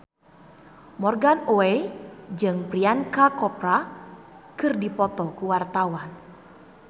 Morgan Oey jeung Priyanka Chopra keur dipoto ku wartawan